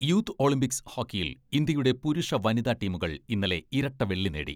Youth Olympics ഹോക്കിയിൽ ഇന്ത്യയുടെ പുരുഷ, വനിതാ ടീമുകൾ ഇന്നലെ ഇരട്ട വെള്ളി നേടി.